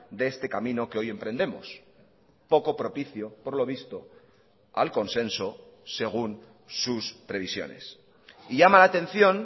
de este camino que hoy emprendemos poco propicio por lo visto al consenso según sus previsiones y llama la atención